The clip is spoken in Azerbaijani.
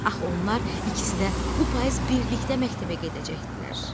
Axı onlar ikisi də bu payız birlikdə məktəbə gedəcəkdilər.